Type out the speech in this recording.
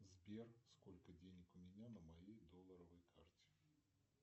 сбер сколько денег у меня на моей долларовой карте